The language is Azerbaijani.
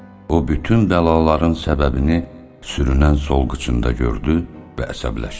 O bütün bəlaların səbəbini sürünən sol qıcında gördü və əsəbləşdi.